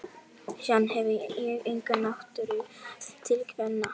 Síðan hefi ég enga náttúru haft til kvenna.